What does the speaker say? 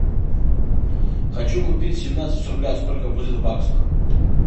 хочу купить семнадцать рублей сколько будет в баксах